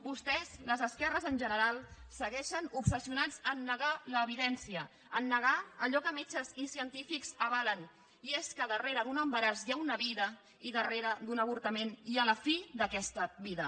vostès les esquerres en general segueixen obsessionats a negar l’evidència a negar allò que metges i científics avalen i és que darrere d’un embaràs hi ha una vida i darrere d’un avortament hi ha la fi d’aquesta vida